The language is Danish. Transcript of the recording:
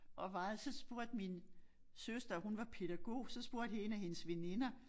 Og varede så spurgte min søster hun var pædagog så spurgte 1 af hendes veninder